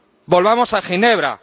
Volvamos a Ginebra.